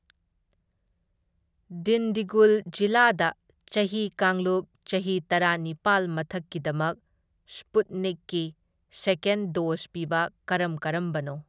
ꯗꯤꯟꯗꯤꯒꯨꯜ ꯖꯤꯂꯥꯗ ꯆꯍꯤ ꯀꯥꯡꯂꯨꯞ ꯆꯍꯤ ꯇꯔꯥꯅꯤꯄꯥꯜ ꯃꯊꯛꯀꯤꯗꯃꯛ ꯁ꯭ꯄꯨꯠꯅꯤꯛꯀꯤ ꯁꯦꯀꯦꯟ ꯗꯣꯖ ꯄꯤꯕ ꯀꯔꯝ ꯀꯔꯝꯕꯅꯣ?